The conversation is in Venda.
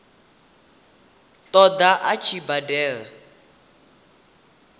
ṱo ḓa a tshi badela